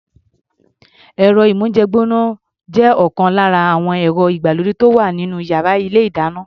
Ẹ̀rọ-ìmóhúnjẹ gbọ́ná jẹ́ ọ̀kan lára àwọn ẹ̀rọ ìgbàlódé tó wà nínú yàrá ilé-ìdáná.